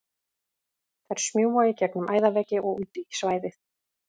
Þær smjúga í gegnum æðaveggi og út í svæðið.